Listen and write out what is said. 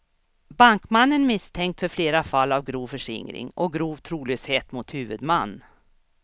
Bankmannen är misstänkt för flera fall av grov förskingring, och grov trolöshet mot huvudman.